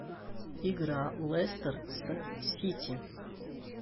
игра лестер с сити